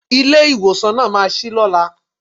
Ilé ìwòsàn náà ma ṣí lọ́la.